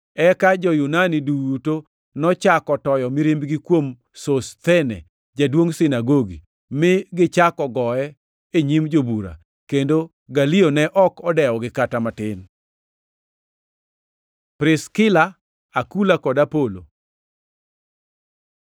Eka jo-Yunani duto nochako toyo mirimbgi kuom Sosthene, jaduongʼ sinagogi, mi gichako goye e nyim jobura; kendo Galio ne ok odewogi kata matin. Priskila, Akula kod Apolo